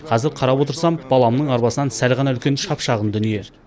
қазір қарап отырсам баламның арбасынан сәл ғана үлкен шап шағын дүние